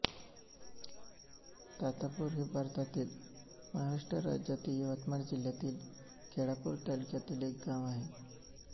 तातापूर हे भारतातील महाराष्ट्र राज्यातील यवतमाळ जिल्ह्यातील केळापूर तालुक्यातील एक गाव आहे